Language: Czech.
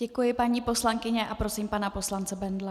Děkuji, paní poslankyně, a prosím pana poslance Bendla.